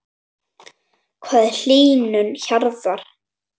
Hvað er hlýnun jarðar?